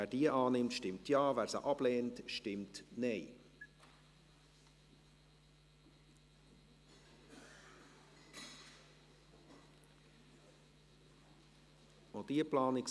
Parlament über die Motion 19.3758 «Der Bundesrat wird ersucht, die rechtlichen Grundlagen zu schaffen, damit ausländische, rechtskräftig verurteilte Gewalttäter und Kriminelle ihre Haftstrafe zwangsweise in ihrem Heimatland zu verbüssen haben» behandelt hat.